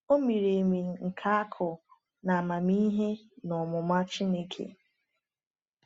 “O miri emi nke akụ na amamihe na ọmụma Chineke!”